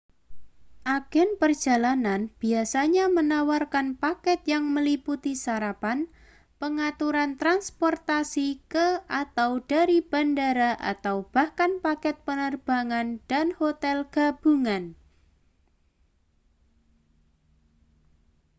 agen perjalanan biasanya menawarkan paket yang meliputi sarapan pengaturan transportasi ke / dari bandara atau bahkan paket penerbangan dan hotel gabungan